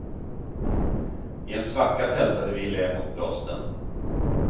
I en svacka tältade vi i lä mot blåsten.